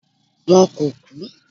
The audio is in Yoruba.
wọn ko ku